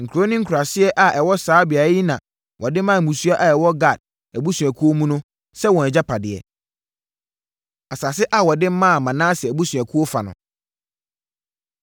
Nkuro ne nkuraaseɛ a ɛwɔ saa beaeɛ yi na wɔde maa mmusua a ɛwɔ Gad abusuakuo mu sɛ wɔn agyapadeɛ. Asase A Wɔde Maa Manase Abusuakuo Fa No